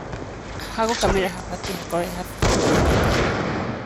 Hagũkamĩra habatie hakorwo heha fiti mũgwaja kwa inya.